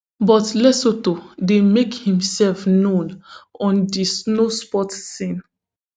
but lesotho dey make imsef known on di snowsports scene